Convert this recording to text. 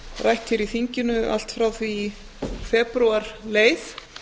rætt hér í þinginu allt frá því í febrúar leið